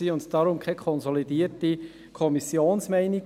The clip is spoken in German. Deshalb gibt es keine konsolidierte Kommissionsmeinung.